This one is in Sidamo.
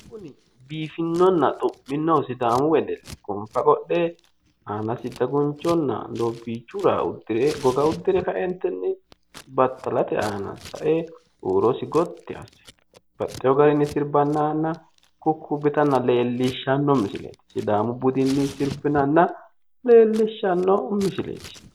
Kuni biifinonna xu'mino sidaamu wedelli gonfa qodhe aanasi dagunchonna doobbiichu raa uddire goga uddire kaeentinni battalate aana sae huurosi gotti asse baxxewu garinni sirbannanna kukkubbitanna leellishshanno misileeti sidaamu budinni sirbinanna leellishshanno misileeti